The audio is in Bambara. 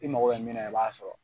I mago bɛ min na i b'a sɔrɔ.